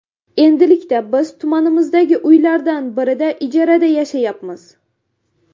Endilikda biz tumanimizdagi uylardan birida ijarada yashayapmiz.